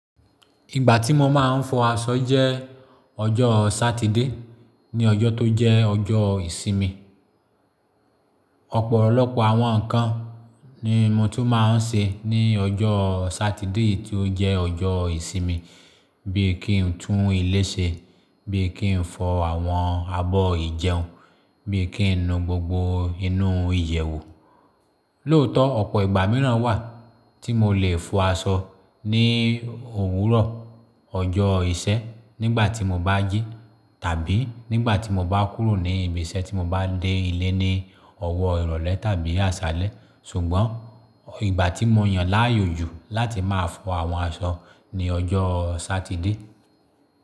Ìgbà tí mo máa ń fọ aṣọ jẹ́ ọjọ́ Sátidé ní ọjọ́ tó jẹ́ ọjọ́ ìsinmi. Ọ̀pọ̀lọpọ̀ àwọn ǹkan ni mo tún máa ń ṣe ní ọjọ́ Sátidé tí ó jẹ́ ọjọ́ ìsinmi bíi kí n tún ilé ṣe, bíi kí n fọ àwọn abọ́ ìjẹun, bíi kí n nu gbogbo inú ìyẹ̀wù. Lóòótọ́ ọ̀pọ̀ ìgbà mìíràn wà tí mo lè fọ aṣọ ní òwúrọ̀, ọjọ́ ìṣé nígbà tí mo bá jí tàbí nígbà tí mo bá kúrò ní ibi iṣẹ́ tí mo bá dé ilé ní ọ̀wọ́ ìrọ̀lẹ́ tàbí àṣálẹ́. Ṣùgbọ́n ìgbà tí mo yàn láàyò ju láti máa fọ àwọn aṣọ ni ọjọ́ Sátidé.